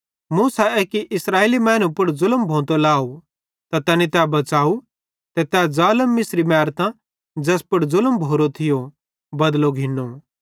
मूसा एक्की इस्राएली मैनू पुड़ ज़ुलम भोंतो लाहू त तैनी तै बच़ाव ते तै ज़ालम मिस्री मैरतां ज़ैस पुड़ ज़ुलम भोरो थियो बदलो घिंनो